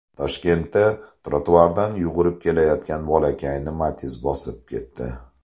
Toshkentda trotuardan yugurib kelayotgan bolakayni Matiz bosib ketdi.